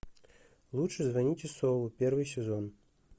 лучше звоните солу первый сезон